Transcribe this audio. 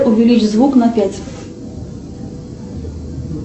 увеличь звук на пять